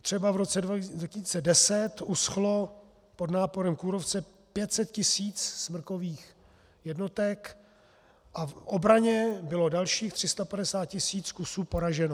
Třeba v roce 2010 uschlo pod náporem kůrovce 500 tisíc smrkových jednotek a v obraně bylo dalších 350 tisíc kusů poraženo.